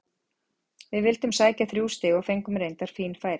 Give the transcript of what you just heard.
Við vildum sækja þrjú stig og fengum reyndar fín færi.